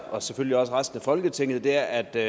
og selvfølgelig også resten af folketinget er at der